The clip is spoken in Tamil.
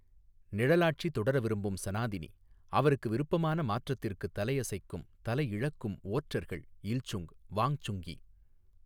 நிழலாட்சி தொடர விரும்பும் சநாதினி, அவருக்கு விருப்பமான மாற்றத்திற்கு தலையசைக்கும், தலையிழக்கும் ஓற்றர்கள் இல்சுங், வாங்சுங்கி.